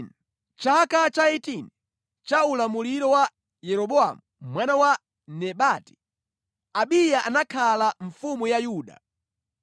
Mʼchaka cha 18 cha ulamuliro wa Yeroboamu mwana wa Nebati, Abiya anakhala mfumu ya Yuda,